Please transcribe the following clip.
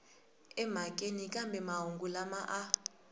emhakeni kambe mahungu lama a